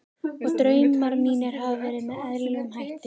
Og draumar mínir hafa verið með eðlilegum hætti.